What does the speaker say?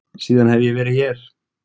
Síðan hef ég verið hér.